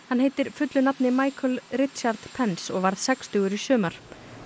hann heitir fullu nafni Richard Pence og varð sextugur í sumar